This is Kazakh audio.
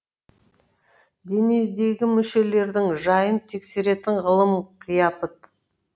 денедегі мүшелердің жайын тексеретін ғылым қияпыт